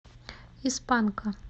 из панка